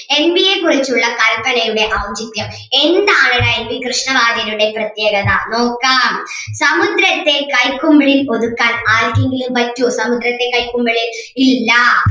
N വിയെകുറിച്ചുള്ള കല്പനയുടെ ഔചിത്യം എന്താണിവിടെ എൻ വി കൃഷ്ണവാര്യരുടെ പ്രത്യേകത നോക്കാം സമുദ്രത്തെ കൈക്കുമ്പിളിൽ ഒതുക്കാൻ ആർക്കെങ്കിലും പറ്റുവോ സമുദ്രത്തെ കൈക്കുമ്പിളിൽ ഇല്ലാ